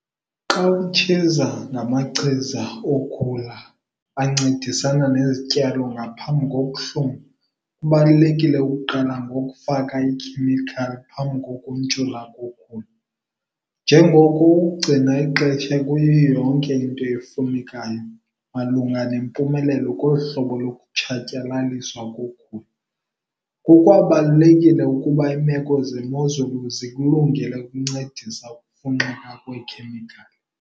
Xa utshiza namachiza yokhula yaphambi kokuhluma, kubalulekile ukuqala ngokufaka ikhemikhali phambi kokuntshula kokhula, njengoko ukugcina ixesha kuyiyo yonke into efunekayo malunga nempumelelo kolu hlobo lokutshatyalaliswa kokhula. Kukwabalulekile ukuba iimeko zemozulu zikulungele ukuncedisa ukufunxeka kweekhemikhali.